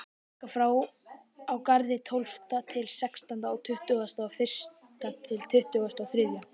Taka frá á Garði tólfta til sextánda og tuttugasta og fyrsta til tuttugasta og þriðja.